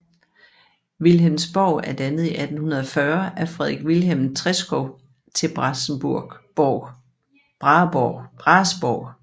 Vilhelmsborg er dannet i 1840 af Frederik Vilhelm Treschow til Brahesborg